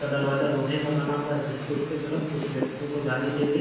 का दरवाजा लोहे का बना हुआ है जिसके उसके तरफ कुछ व्यक्तियों को जाने के लिए --